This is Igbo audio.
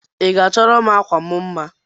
Iga achọrọm akwam mma?